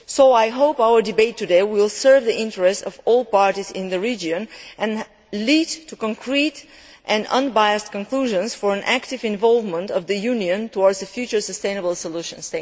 I hope our debate today will serve the interests of all parties in the region and lead to concrete and unbiased conclusions for an active involvement of the Union towards future sustainable solutions.